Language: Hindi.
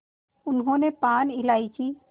उन्होंने पान इलायची